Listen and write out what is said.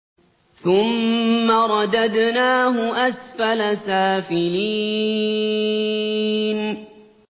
ثُمَّ رَدَدْنَاهُ أَسْفَلَ سَافِلِينَ